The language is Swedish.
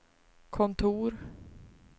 kontor